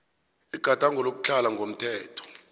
igadango lokutlhala ngokomthetho